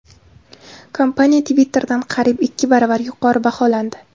Kompaniya Twitter’dan qariyb ikki baravar yuqori baholandi.